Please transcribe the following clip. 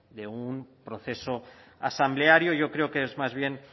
de un proceso asambleario yo creo que es más bien